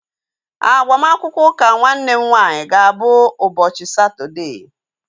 Agbamakwụkwọ ụka nwanne m nwaanyị ga-abụ ụbọchị Satọdee